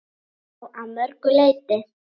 Já, að mörgu leyti.